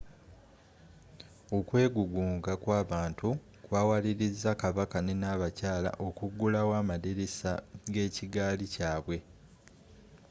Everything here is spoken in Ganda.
okwegugunga kwabantu kwawaliriza kabaka ne nabakayala okugulawo amadirisa g'ekigaali kyaabwe